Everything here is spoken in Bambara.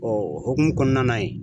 Ɔ o hukumu kɔnɔna na yen